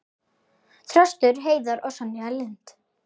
Þröstur Heiðar og Sonja Lind.